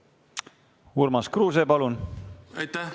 Urmas Kruuse, palun!